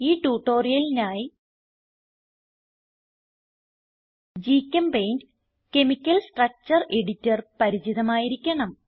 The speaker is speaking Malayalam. ഈ ട്യൂട്ടോറിയലിനായി ഗ്ചെമ്പെയിന്റ് കെമിക്കൽ സ്ട്രക്ചർ എഡിറ്റർ പരിചിതമായിരിക്കണം